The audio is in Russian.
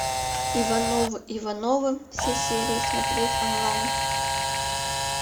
ивановы ивановы все серии смотреть онлайн